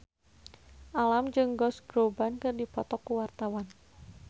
Alam jeung Josh Groban keur dipoto ku wartawan